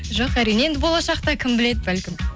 жоқ әрине енді болашақта кім біледі бәлкім